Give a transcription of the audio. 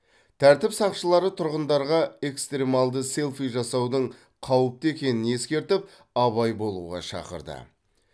тәртіп сақшылары тұрғындарға экстремалды селфи жасаудың қауіпті екенін ескертіп абай болуға шақырды